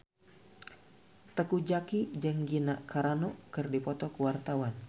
Teuku Zacky jeung Gina Carano keur dipoto ku wartawan